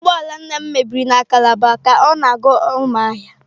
Ụgbọ ala nna m mebiri na calabar ka ọ na-aga Umuahia.